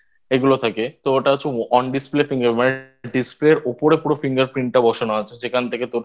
এগুলো থাকে তো ওটা হচ্ছে On Display Finger Display এর ওপরে পুরো Finger Print বসানো আছে যেখান থেকে তোর